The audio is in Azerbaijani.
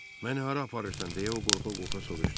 Məni hara aparırsan deyə o qorxa-qorxa soruştu.